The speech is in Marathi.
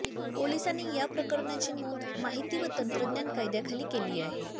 पोलिसांनी या प्रकरणाची नोंद माहिती व तंत्रज्ञान कायद्याखाली केली आहे